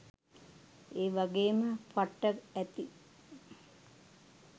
ඒ වගේම පට්ට ඇති.